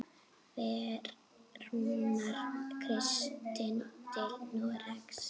Fer Rúnar Kristins til Noregs?